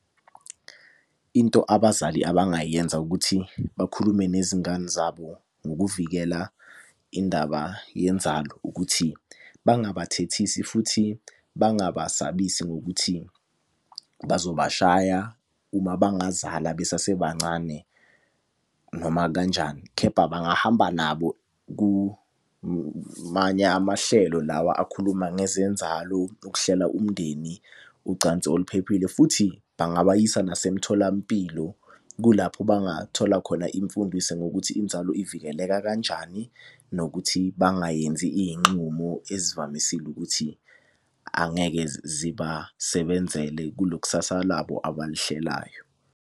Into abazali abangayenza ukuthi bakhulume nezingane zabo ngokuvikela indaba yenzalo, ukuthi bangaba thethisi futhi bangabasabisi ngokuthi bazoba shaya uma bengazala besasebancane noma kanjani. Khepha bangahamba nabo kumanye amahlelo lawa akhuluma ngezenzalo, ukuhlela umndeni, ucansi oluphephile. Futhi bangabayisa nasemtholampilo, kulapho bangathola khona imfundiso ngokuthi inzalo ivikeleka kanjani. Nokuthi bangayenzi iy'nxumo ezivamisile ukuthi angeke zibasebenzele kulo kusasa labo abalihlelayo.